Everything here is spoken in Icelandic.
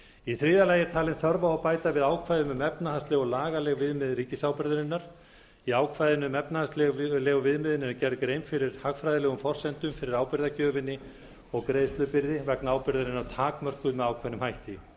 í þriðja lagi er talin þörf á að bæta við ákvæðum um efnahagsleg og lagaleg viðmið ríkisábyrgðarinnar í ákvæðinu um efnahagslegu viðmiðin er gerð grein fyrir hagfræðilegum forsendum fyrir ábyrgðargjöfinni og greiðslubyrði vegna ábyrgðarinnar takmörkuð með ákveðnum hætti